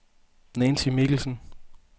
Nancy Mikkelsen